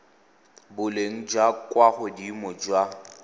boleng jwa kwa godimo jwa